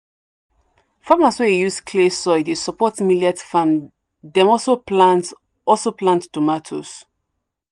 farmers wey use clay soil dey support millet farm dem also plant also plant tomato."